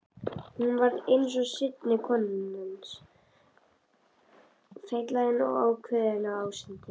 Hún varð seinni kona hans, feitlagin og ákveðin ásýndum.